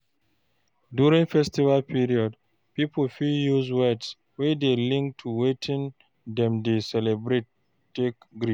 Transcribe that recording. During Festive period, pipo fit use words wey dey linked to wetin dem dey celebrate take greet